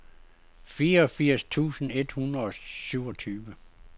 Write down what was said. fireogfirs tusind et hundrede og syvogtyve